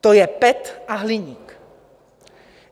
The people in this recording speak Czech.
to je PET a hliník.